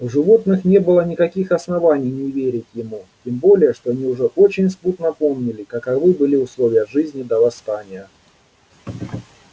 у животных не было никаких оснований не верить ему тем более что они уже очень смутно помнили каковы были условия жизни до восстания